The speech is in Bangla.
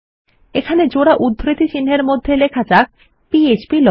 এখানে জোড়া উধ্রিতিচিন্হের মধ্যে লেখা যাক ফ্প্লজিন